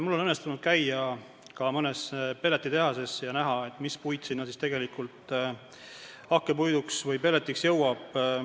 Mul on õnnestunud käia ka mõnes pelletitehases ja näha, mis puit sinna hakkpuidu või pelletite jaoks jõuab.